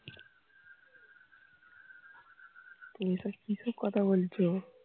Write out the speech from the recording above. তুমি এসব কি কি কথা বলছো